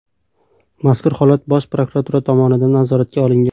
Mazkur holat Bosh prokuratura tomonidan nazoratga olingan.